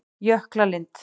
Jöklalind